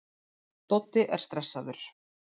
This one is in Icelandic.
Doddi er stressaður.